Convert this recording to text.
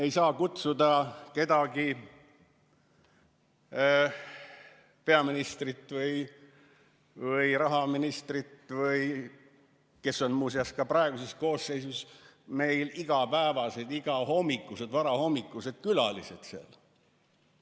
Ei saa kutsuda kedagi, peaministrit või rahandusministrit, kes on muuseas ka praeguses koosseisus meil igapäevased, igahommikused, varahommikused külalised seal.